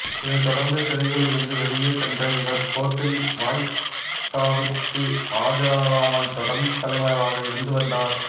இதை தொடர்ந்து சிறையில் இருந்து வெளிேய சென்ற இவர் கோர்ட்டில் வாய்தாவிற்கு ஆஜராகாமல் தொடர்ந்து தலைமறைவாக இருந்து வந்தார்